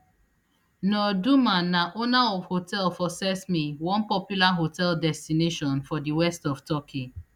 nur duman na owner of hotel for cesme one popular holiday destination for di west of turkey